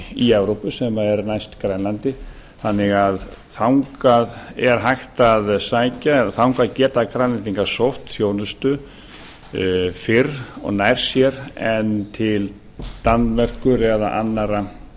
í evrópu sem er næst grænlandi þannig að þangað er hægt að sækja eða þangað geta grænlendingar sótt þjónustu fyrr og nær sér en til danmerkur eða annarra